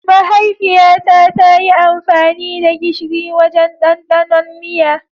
Mahaifiyata ta yi amfani da gishiri wajen ɗandanon miya.